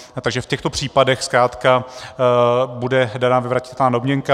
Takže v těchto případech zkrátka bude daná vyvratitelná domněnka.